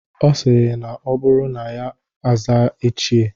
Ọ sịrị na ọ bụrụ na ya aza "ichie"